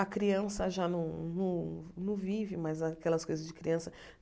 A criança já não não não vive mais aquelas coisas de criança.